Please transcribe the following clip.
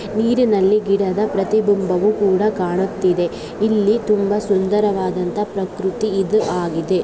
ನೀರಿನಲ್ಲಿ ಗಿಡದ ಪ್ರತಿಬಿಂಬವು ಕೂಡ ಕಾಣಿಸುತ್ತಿದೆ ಇಲ್ಲಿ ಸುಂದರವಾದ ಪ್ರಕೃತಿ ಇದು ಆಗಿದೆ.